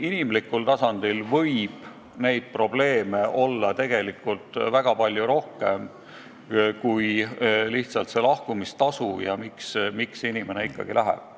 Inimlikul tasandil võib neid probleeme olla tegelikult väga palju rohkem kui lihtsalt see lahkumistasu ja miks inimene ikkagi läheb.